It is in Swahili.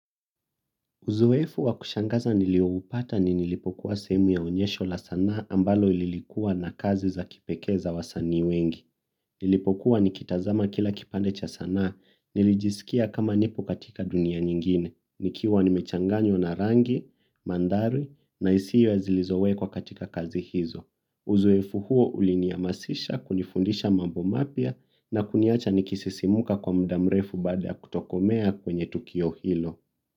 Uzoefu wa kushangaza nilioupata ni nilipokuwa sehemu ya onyesho la sanaa ambalo lilikuwa na kazi za kipekee za wasanii wengi. Nilipokuwa nikitazama kila kipande cha sanaa, nilijisikia kama nipo katika dunia nyingine, nikiwa nimechanganywa na rangi, mandhari, na hisia zilizowekwa katika kazi hizo. Uzoefu huo ulinihamasisha kunifundisha mambo mapya na kuniacha nikisisimuka kwa muda mrefu baada kutokomea kwenye tukio hilo.